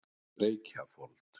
Reykjafold